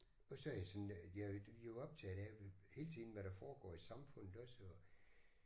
Og så er jeg sådan jeg er jo optaget af hele tiden hvad der foregår i samfundet også og